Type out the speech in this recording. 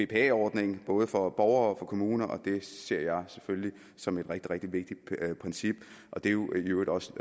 bpa ordning både for borgere og for kommuner og det ser jeg selvfølgelig som et rigtig rigtig vigtigt princip og det er jo i øvrigt også